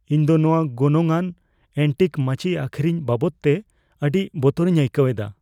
ᱤᱧ ᱫᱚ ᱱᱚᱶᱟ ᱜᱚᱱᱚᱝᱼᱟᱱ ᱮᱱᱴᱤᱠ ᱢᱟᱹᱪᱤ ᱟᱹᱠᱷᱨᱤᱧ ᱵᱟᱵᱚᱫᱛᱮ ᱟᱹᱰᱤ ᱵᱚᱛᱚᱨᱤᱧ ᱟᱹᱭᱠᱟᱹᱣ ᱮᱫᱟ ᱾